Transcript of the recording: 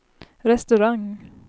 restaurang